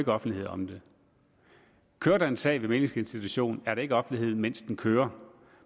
offentlighed om den kører der en sag ved mæglingsinstitutionen er der ikke offentlighed mens den kører